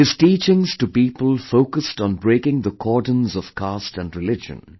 His teachings to people focused on breaking the cordons of caste and religion